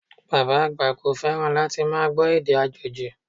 Bàbá àgbà kò fẹ́ràn láti máa gbọ́ èdè àjòjì